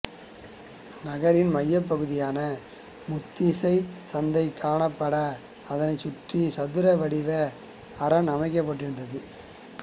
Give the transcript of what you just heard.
நகரின் மையப்பகுதியாக முத்திரைச் சந்தை காணப்பட அதனைச் சுற்றி சதுர வடிவ அரண் அமைக்கப்பட்டிருந்தது